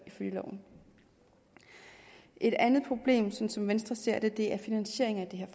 i loven et andet problem som som venstre ser det er finansieringen af det her